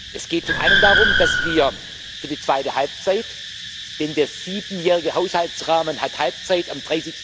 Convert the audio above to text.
Es geht zum einen darum, dass wir für die zweite Halbzeit denn der siebenjährige Haushaltsrahmen hat Halbzeit am